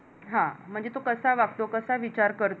म्हणजे तो कसा वागतो? कसा विचार करतो?